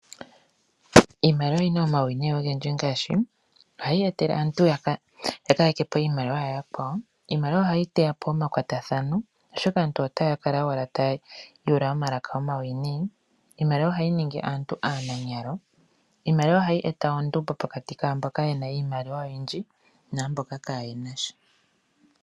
Iimaliwa oyina omauwinayi ogendji ngaashi ohayi etele aantu ya ka ya kepo iimaliwa ya yakwawo. Ohayi teya po oma kwatathano oshoka aantu otaya kala owala tayi yuula omalaka omawiinayi. Iimaliwa ohayi ningi aantu aananyalo. Iimaliwa ohayi eta ondumbo pokati kaantu mboka yena iimaliwa oyindji naamboka kaayena sha.